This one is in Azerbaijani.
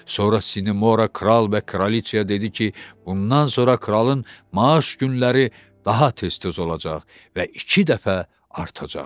Sonra Sinemora kral və kraliçaya dedi ki, bundan sonra kralın maaş günləri daha tez-tez olacaq və iki dəfə artacaq.